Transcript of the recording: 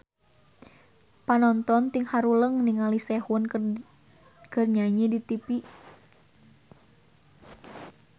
Panonton ting haruleng ningali Sehun keur nyanyi di tipi